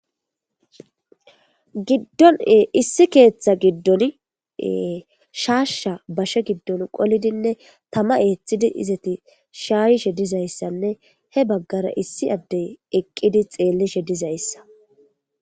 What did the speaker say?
giddon issi keeththa giddon shaasha bashe giddon qolidinne tama eeththidi izati shaayishe dizayssanne he baggara issi addey eqqidi xeellishe dizayssa